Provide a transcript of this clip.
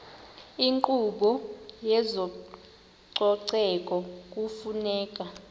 inkqubo yezococeko kufuneka